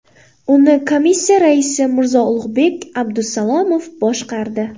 Uni Komissiya raisi Mirzo-Ulug‘bek Abdusalomov boshqardi.